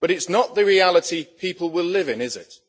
but it is not the reality people will live in, is it?